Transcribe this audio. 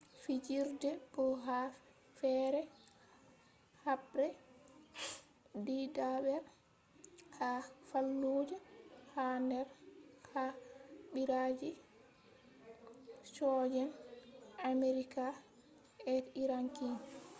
fijirde may ha do haɓre ɗidaɓre ha fallujah ha der ha ɓiraji soje'en amerika be iraqi